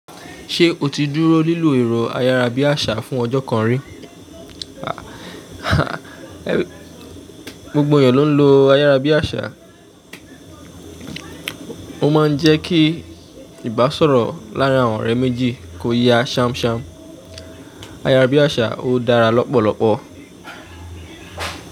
Ṣé o ti dúró lilo ẹ̀rọ ayárabíàṣá fún ọjọ́ kan rí? Ah, ah, gbogbo ènìyàn ló ń lo ayárabíàṣá. Ó máa ń jẹ́ kí ìbásọ̀rọ̀ láàárín àwọn ọ̀rẹ́ méjì kó yá ṣamṣam. Ayárabíàṣá ó dára lọ́pọ̀lọpọ̀.